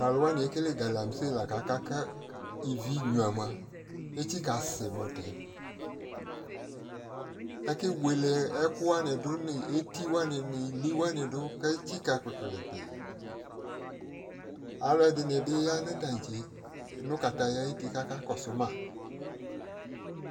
to alowani ekele galamsey la ko aka ko ivi nyua moa etsika si motɛ ake wele ɛko wani do no eti wani no ili wani do ko etsika kpikpilikpi alo edi ni bi ya no tantse no kataya ayiti ko aka kɔso ma